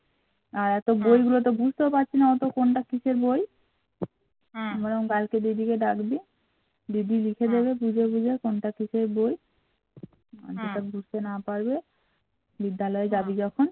বিদ্যালয় যাবি যখন